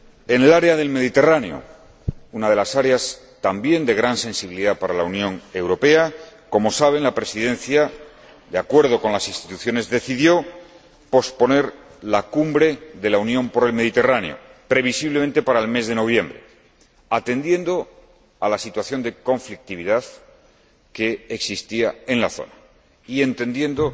En el área del Mediterráneo, una de las áreas también de gran sensibilidad para la Unión Europea, como saben, la Presidencia, de acuerdo con las instituciones, decidió posponer la cumbre de la Unión para el Mediterráneo, previsiblemente, hasta el mes de noviembre, atendiendo a la situación de conflictividad que existía en la zona y entendiendo